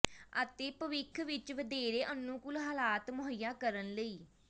ਅਤੇ ਭਵਿੱਖ ਵਿਚ ਵਧੇਰੇ ਅਨੁਕੂਲ ਹਾਲਾਤ ਮੁਹੱਈਆ ਕਰਨ ਲਈ